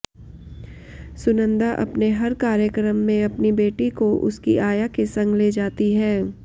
सुनंदा अपने हर कार्यक्रम में अपनी बेटी को उसकी आया के संग ले जाती हैं